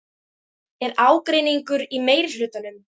Er ágreiningur í meirihlutanum?